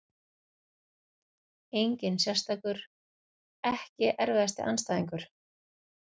Engin sérstakur EKKI erfiðasti andstæðingur?